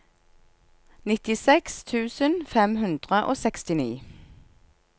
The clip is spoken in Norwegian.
nittiseks tusen fem hundre og sekstini